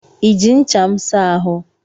I ji ncha m saa ahụ?